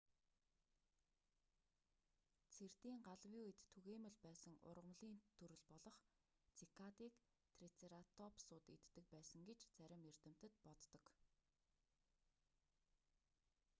цэрдийн галавын үед түгээмэл байсан ургамлын төрөл болох цикадыг трицератопсууд иддэг байсан гэж зарим эрдэмтэд боддог